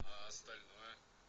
а остальное